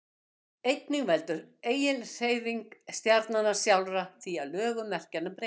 einnig veldur eiginhreyfing stjarnanna sjálfra því að lögun merkjanna breytist